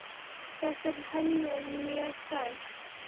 Þetta er henni mjög kært.